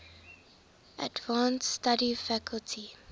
advanced study faculty